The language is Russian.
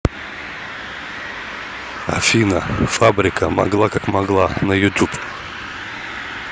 афина фабрика могла как могла на ютуб